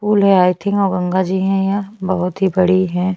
Pool हैं I think Ganga ji है यहाँ बहोत की बड़ी है।